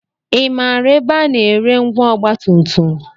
I maara ebe a na-ere ngwa ọgbatumtum?